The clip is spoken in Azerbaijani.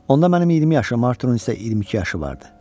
Onda mənim 20 yaşım, Arturun isə 22 yaşı vardı.